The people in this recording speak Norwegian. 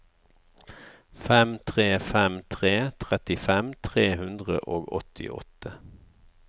fem tre fem tre trettifem tre hundre og åttiåtte